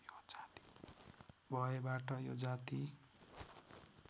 भएबाट यो जाति